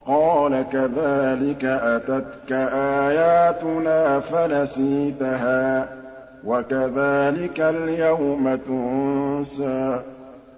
قَالَ كَذَٰلِكَ أَتَتْكَ آيَاتُنَا فَنَسِيتَهَا ۖ وَكَذَٰلِكَ الْيَوْمَ تُنسَىٰ